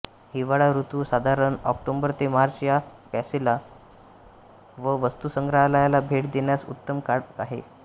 हिवाळा ऋतू साधारण ऑक्टोबर ते मार्च या पॅलेसला व वस्तुसंग्रहालयाला भेट देन्यास उत्तम काळं आहे